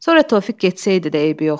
Sonra Tofiq getsəydi də eybi yoxdur.